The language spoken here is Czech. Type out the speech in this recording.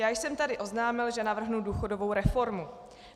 Já jsem tady oznámil, že navrhnu důchodovou reformu.